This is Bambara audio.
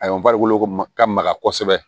A y'an farikolo ko ka maga kosɛbɛ